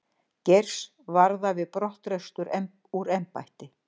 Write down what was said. Geirs varða við brottrekstur úr embætti